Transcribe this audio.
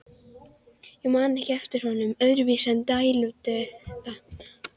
Ég man ekki eftir honum öðruvísi en dælduðum.